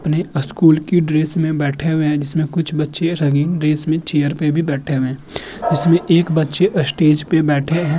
अपने स्कूल की ड्रेस में बैठे हुए हैं। जिसमें कुछ बच्चे रंगीन ड्रेस में चेयर पर भी बैठे हैं। इसमें एक बच्चे स्टेज पर बैठे है।